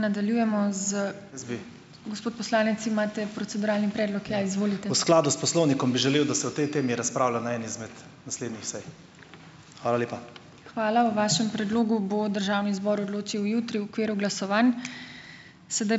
V skladu s poslovnikom bi želel, da se o tej temi razpravlja na eni izmed naslednjih sej. Hvala lepa.